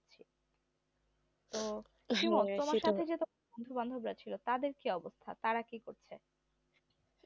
তোমার সাথে তো যে বন্ধু বান্ধব রা ছিল তাদের কি অবস্থা তারা কি করছে